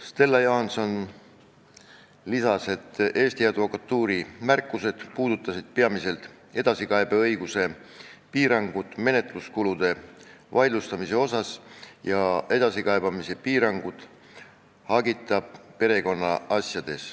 Stella Johanson märkis, et Eesti Advokatuuri märkused puudutasid peamiselt edasikaebeõiguse piirangut, kui tegu on menetluskulude vaidlustamisega ja hagita perekonnaasjadega.